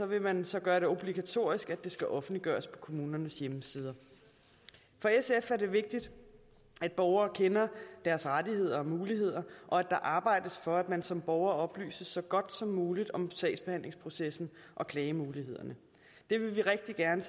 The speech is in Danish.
vil man så gøre det obligatorisk at det skal offentliggøres på kommunernes hjemmesider for sf er det vigtigt at borgere kender deres rettigheder og muligheder og at der arbejdes for at man som borger oplyses så godt som muligt om sagsbehandlingsprocessen og klagemulighederne det vil vi rigtig gerne